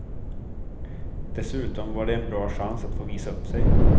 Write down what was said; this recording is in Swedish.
Dessutom var det en bra chans att få visa upp sig.